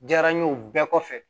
Diyara n ye o bɛɛ kɔfɛ